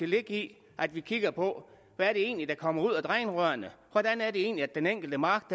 ligge i at vi kigger på hvad det egentlig er der kommer ud af drænrørene hvordan er det egentlig at den enkelte mark